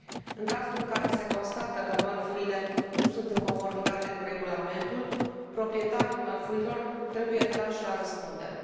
În cazul în care se constată că mărfurile nu sunt în conformitate cu regulamentul, proprietarii mărfurilor trebuie trași la răspundere.